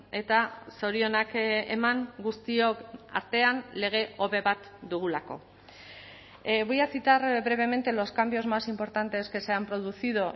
eta zorionak eman guztiok artean lege hobe bat dugulako voy a citar brevemente los cambios más importantes que se han producido